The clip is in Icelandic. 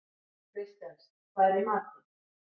Kristens, hvað er í matinn?